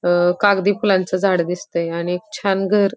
अ कागदी फुलांच झाड दिसतय आणि छान घर--